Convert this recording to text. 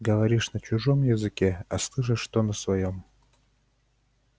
говоришь на чужом языке а слышишь то на своём